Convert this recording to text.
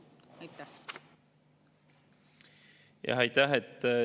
Aitäh!